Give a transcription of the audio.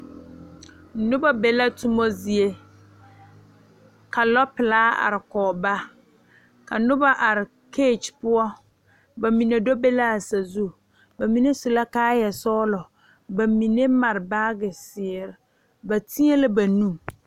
Noba be la toma zie ka lɔɔpelaa are kɔge ba ka noba are keege poɔ ba mine do be la a sazu ba mine su la kaayasɔglɔ ba mine mare baagezeere ba teɛ la ba nu.